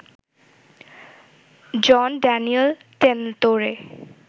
Jean Daniel টেনতোরে